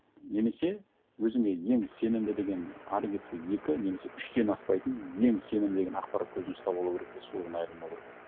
немесе өзіңе ең сенімді деген ары кетсе екі немес үштен аспайтын ең сенімді деген ақпарат көзін ұстап алу керек те содан айырылмау керек